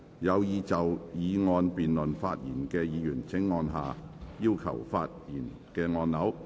有意就議案辯論發言的議員請按下"要求發言"按鈕。